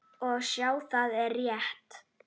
Og sjá, það er rétt.